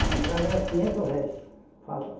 A entrada era quinhentos réis.